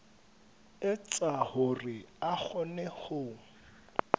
etsa hore a kgone ho